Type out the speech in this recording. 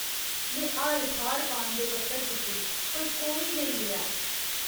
में हर थाह्र पान दे पत्तर तुप्पे पर कोई नेईं मिलेआ।